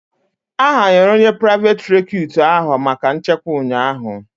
A hayara onye priveti recutu ahụ maka nchekwa ụnyaahụ